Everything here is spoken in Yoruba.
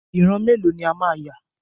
Ìran mélòó ni a máa yà?